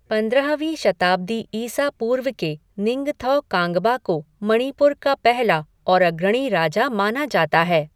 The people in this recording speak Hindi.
पंद्रहवीं शताब्दी ईसा पूर्व के निंगथौ कांगबा को मणिपुर का पहला और अग्रणी राजा माना जाता है।